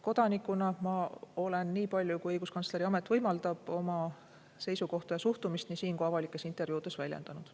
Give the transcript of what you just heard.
Kodanikuna ma olen, nii palju kui õiguskantsleri amet võimaldab, oma seisukohta ja suhtumist nii siin kui avalikes intervjuudes väljendanud.